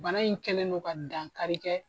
Bana in kɛlen do ka dankari kɛ.